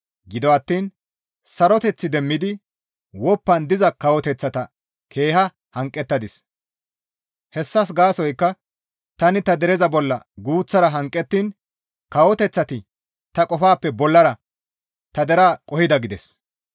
Gido attiin saroteth demmidi woppan diza kawoteththata keeha hanqettadis; hessas gaasoykka tani ta dereza bolla guuththara hanqettiin kawoteththati ta qofappe bollara ta deraa qohida› gides.